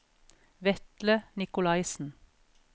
Vetle Nicolaisen